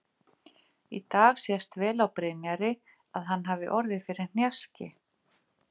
Í dag sést vel á Brynjari að hann hafi orðið fyrir hnjaski.